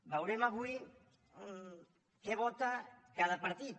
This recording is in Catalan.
veurem avui què vota cada partit